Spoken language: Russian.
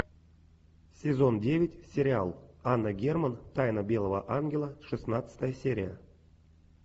сезон девять сериал анна герман тайна белого ангела шестнадцатая серия